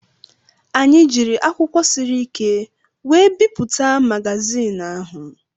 Anyị jiiri akwụkwọ siri ike were bipụta magazin ahụ.